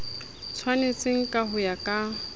tshwanetseng ka ho ya ka